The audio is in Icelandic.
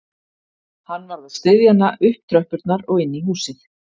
Hann varð að styðja hana upp tröppurnar og inn í húsið